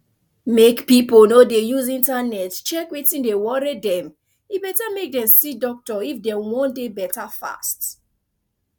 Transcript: mek pipo no dey use internet check wetin dey worry dem e better mek dem see doctor if dem wan dey better fast